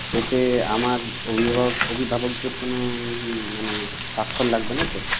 এতে আমার অভিভাবক অভিভাবকদের কোনো মানে সাক্ষর লাগবে না তো?